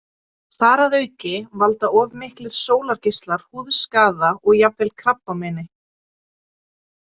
Þar að auki valda of miklir sólargeislar húðskaða og jafnvel krabbameini.